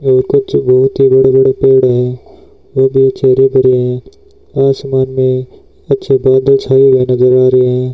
और कुछ बहोत ही बड़े बड़े पेड़ है वो भी अच्छे हरे भरे है आसमान में अच्छे बादल छाए हुए नजर रहे है।